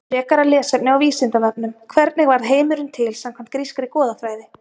Frekara lesefni á Vísindavefnum: Hvernig varð heimurinn til samkvæmt grískri goðafræði?